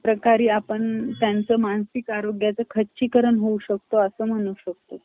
प्रकारे आपण त्यांचे मानसिक आरोग्याचं खच्चीकरण होऊ शकतो, आस म्हणू शकतो .